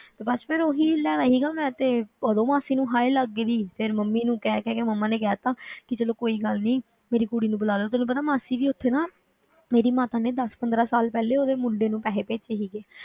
ਤੇ ਬਸ ਫਿਰ ਉਹੀ ਲੈਣਾ ਸੀਗਾ ਮੈਂ ਤੇ ਉਦੋਂ ਮਾਸੀ ਨੂੰ ਹਾਏ ਲੱਗ ਗਈ, ਫਿਰ ਮੰਮੀ ਨੂੰ ਕਹਿ ਕਹਿ ਕੇ ਮੰਮਾ ਨੇ ਕਹਿ ਦਿੱਤਾ ਕਿ ਚਲੋ ਕੋਈ ਗੱਲ ਨੀ, ਮੇਰੀ ਕੁੜੀ ਨੂੰ ਬੁਲਾ ਲਓ, ਤੈਨੂੰ ਪਤਾ ਮਾਸੀ ਦੀ ਉੱਥੇ ਨਾ ਮੇਰੀ ਮਾਤਾ ਨੇ ਦਸ ਪੰਦਰਾਂ ਸਾਲ ਪਹਿਲੇ ਉਹਦੇ ਮੁੰਡੇ ਨੂੰ ਪੈਸੇ ਭੇਜੇ ਸੀਗੇ,